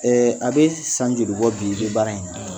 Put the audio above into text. a bɛ san joli bɔ bi ? i bɛ baara in na.